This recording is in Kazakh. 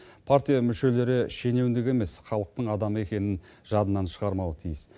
партия мүшелері шенеунік емес халықтың адамы екенін жадынан шығармауы тиіс